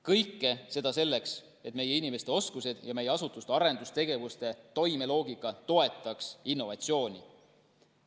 Kõike seda selleks, et meie inimeste oskused ja meie asutuste arendustegevuste toimeloogika toetaks innovatsiooni.